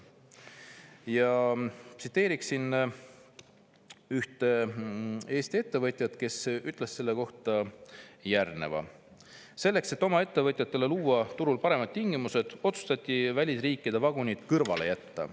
Ja tsiteerin ühte Eesti ettevõtjat, kes ütles selle kohta järgmist: "Selleks, et oma ettevõtjatele luua turul paremad tingimused, otsustati välisriikide vagunid kõrvale jätta.